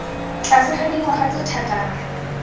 tlase ga dingwaga tse thataro